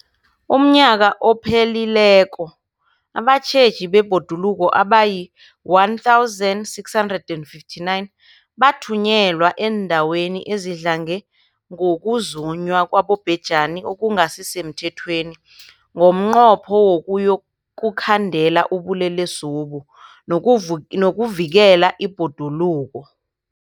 UmNnyaka ophelileko abatjheji bebhoduluko abayi-1 659 bathunyelwa eendaweni ezidlange ngokuzunywa kwabobhejani okungasi semthethweni ngomnqopho wokuyokukhandela ubulelesobu nokuvikela ibhoduluko.